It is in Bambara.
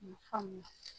faamuya